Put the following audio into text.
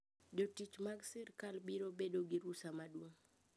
Jotich mar sirkal biro bedo gi rusa maduong`